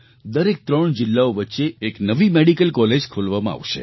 દરેક ત્રણ જિલ્લાઓ વચ્ચે એક નવી મેડિકલ કૉલેજ ખોલવામાં આવશે